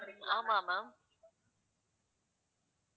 ஆமா ma'am